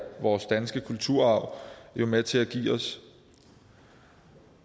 vores danske kulturarv jo med til at give os